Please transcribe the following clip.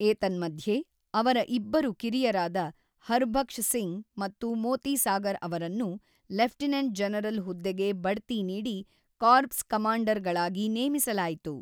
ಏತನ್ಮಧ್ಯೆ, ಅವರ ಇಬ್ಬರು ಕಿರಿಯರಾದ ಹರ್ಬಕ್ಷ್ ಸಿಂಗ್ ಮತ್ತು ಮೋತಿ ಸಾಗರ್ ಅವರನ್ನು ಲೆಫ್ಟಿನೆಂಟ್ ಜನರಲ್ ಹುದ್ದೆಗೆ ಬಡ್ತಿ ನೀಡಿ ಕಾರ್ಪ್ಸ್ ಕಮಾಂಡರ್‌ಗಳಾಗಿ ನೇಮಿಸಲಾಯಿತು.